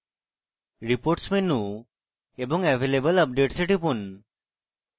reports menu এবং available updates এ টিপুন